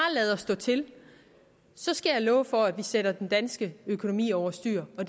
lader stå til så skal jeg love for at vi sætter den danske økonomi over styr og